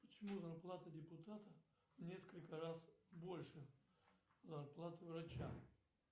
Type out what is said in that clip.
почему зарплата депутата в несколько раз больше зарплаты врача